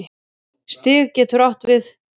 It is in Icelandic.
Stig getur átt við